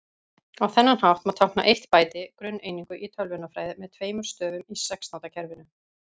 Á þennan hátt má tákna eitt bæti, grunneiningu í tölvunarfræði, með tveimur stöfum í sextándakerfinu.